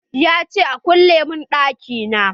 Ya ce " Kulle mun ɗaki na"!